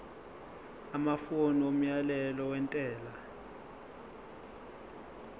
amafomu omyalelo wentela